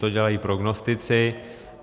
To dělají prognostici.